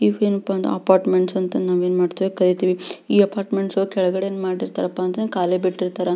ಈ ಇವು ಏನಪ ಅಂತ ಅಪಾರ್ಟ್ಮೆಂಟ್ಸ್ ಅಂತ ನವೆನ್ ಮಾಡ್ತಿವಿ ಕರೀತೀವಿ ಈ ಅಪಾರ್ಟ್ಮೆಂಟ್ಸ್ ಕೆಳಗಡೆ ಏನ್ ಮಾಡಿರ್ತಾರಪ ಅಂತಂದ್ರ ಕಲೆ ಬಿಟ್ಟಿರ್ತರ.